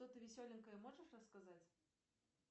что то веселенькое можешь рассказать